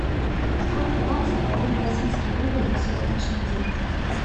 сколько баксов один российский рубль на сегодняшний день